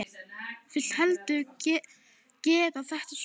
Vil heldur gera þetta svona.